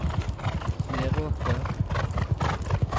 Meråker